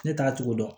Ne t'a togo dɔn